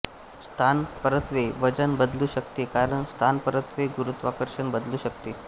स्थानपरत्वे वजन बदलू शकते कारण स्थानपरत्वे गुरूत्वाकर्षण बदलू शकते